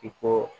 I ko